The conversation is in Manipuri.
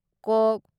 ꯀꯣꯛ